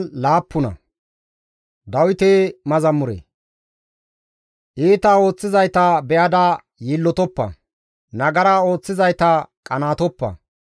Iita ooththizayta be7ada yiillotoppa; nagara ooththizayta qanaatoppa.